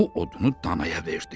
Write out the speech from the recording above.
Bu odunu dana verdi.